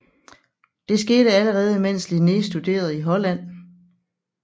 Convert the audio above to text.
Det skete allerede mens Linné studerede i Holland